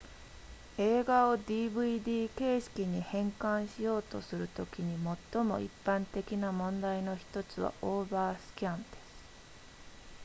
映画を dvd 形式に変換しようとするときに最も一般的な問題の1つはオーバースキャンです